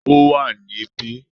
Ó wà ní bí